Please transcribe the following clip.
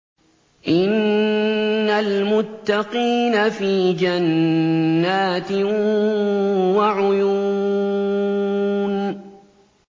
إِنَّ الْمُتَّقِينَ فِي جَنَّاتٍ وَعُيُونٍ